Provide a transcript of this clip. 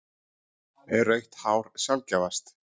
Er rautt hár sjaldgæfast?